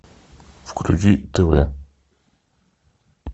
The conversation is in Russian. включить тв